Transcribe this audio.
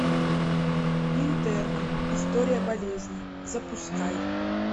интерны история болезни запускай